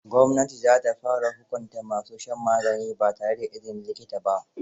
Gwamnati za ta fara hukunta ma su shan magani ba tare da izinin likita ba.